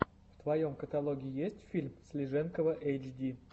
в твоем каталоге есть фильм слиженкова эйчди